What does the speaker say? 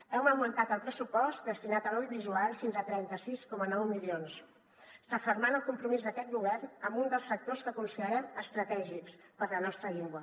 hem augmentat el pressupost destinat a l’audiovisual fins a trenta sis coma nou milions refermant el compromís d’aquest govern amb un dels sectors que considerem estratègics per a la nostra llengua